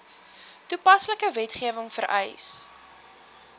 toepaslike wetgewing vereis